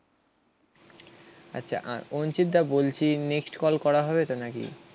আচ্ছা আর অঞ্চিত দা বলছি নেক্সট কল করা হবে তো নাকি?